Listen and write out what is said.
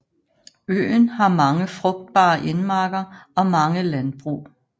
Øen har mange frugtbare indmarker og mange landbrug